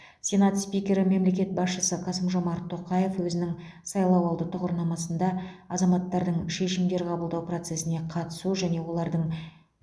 сенат спикері мемлекет басшысы қасым жомарт тоқаев өзінің сайлауалды тұғырнамасында азаматтардың шешімдер қабылдау процесіне қатысу және олардың